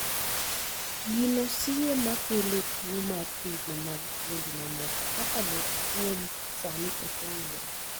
gino siye ma kelo tuo mar thirno mag fuondi mamoko kaka lep kuom sani ok ong'ere